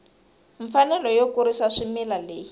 mfanelo yo kurisa swimila leyi